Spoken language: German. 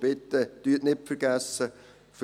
Bitte vergessen Sie nicht: